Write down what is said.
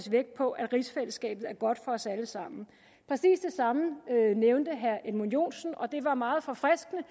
vægt på at rigsfællesskabet er godt for os alle sammen præcis det samme nævnte herre edmund joensen og det var meget forfriskende